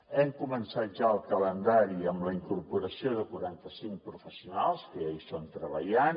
hem començat ja el calendari amb la incorporació de quaranta cinc professionals que ja hi són treballant